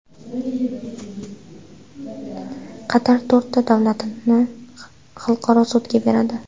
Qatar to‘rtta davlatni xalqaro sudga beradi.